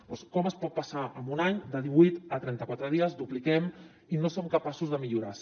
doncs com es pot passar en un any de divuit a trenta quatre dies ho dupliquem i no som capaços de millorar ho